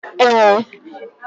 Ee